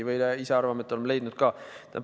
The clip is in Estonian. Ise arvame, et oleme leidnud ka.